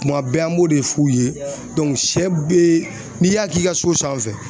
Kuma bɛɛ an b'o de f'u ye sɛ be n'i y'a k'i ka so sanfɛ